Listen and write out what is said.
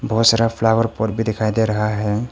बहुत सारा flower pot भी दिखाई दे रहा है।